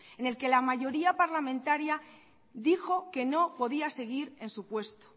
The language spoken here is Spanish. en el que la mayoría parlamentaria dijo que no podía seguir en su puesto